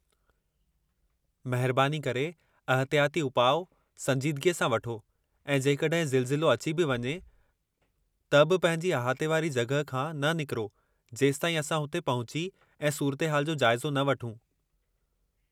महिरबानी करे अहतियाती उपाउ संजीदगीअ सां वठो ऐं जेकॾहिं ज़िलज़िलो अची बि वञे त बि पंहिंजी अहाते वारी जॻह खां न निकरो जेसताईं असां हुते पहुची ऐं सूरतु हाल जो जाइज़ो न वठूं।